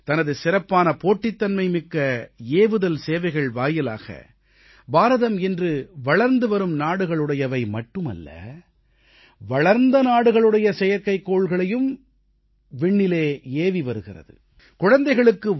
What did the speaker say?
தனது சிறப்பான போட்டித்தன்மைமிக்க ஏவுதல் சேவைகள் வாயிலாக பாரதம் இன்று வளர்ந்துவரும் நாடுகளுடையவை மட்டுமல்ல வளர்ந்த நாடுகளுடைய செயற்கைக்கோள்களையும் விண்ணில் ஏவியிருக்கின்றது